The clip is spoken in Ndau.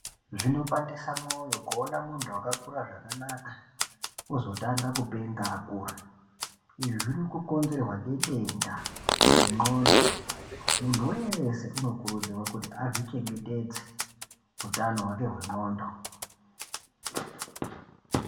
Zvinobandisa mwoyo kuona muntu wakakura zvakanaka ozotanga kupenga akura. Izvi zviri kukonzerwa ngedenda rendxondo. Muntu weshe anokurudzirwa kuti azvichengetedze utano hwake hwendxondo.